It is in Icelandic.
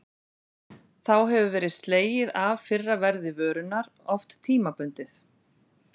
Þá hefur verið slegið af fyrra verði vörunnar, oft tímabundið.